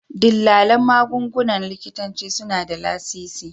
Dillalan magungunan likitanci suna da lasisi